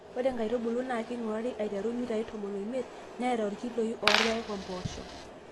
ore inkaitubulu naa kingurari aiteru imitai tomon oimiet, neeta irkiloi loorpaek ompoosho.